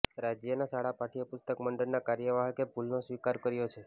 રાજ્યના શાળા પાઠ્ય પુસ્તક મંડળના કાર્યવાહકે ભૂલનો સ્વીકાર કર્યો છે